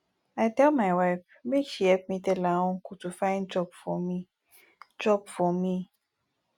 i tell my wife make she help me tell her uncle to find job for me job for me